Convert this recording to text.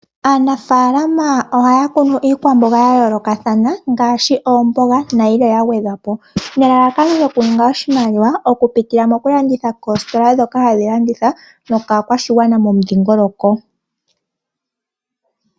Aanafaalama ohaya kunu iikwamboga ya yoolokathana ngaashi oomboga nayilwe ya gwedhwa po nelalakano lyokuninga oshimaliwa oku pitila mokulanditha koositola ndhoka hadhi landitha nokaakwashigwana momudhiingoloko.